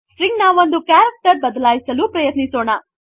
string ನ ಒಂದು character ಬದಲಾಯಿಸಲು ಪ್ರಯತ್ನಿಸೋಣ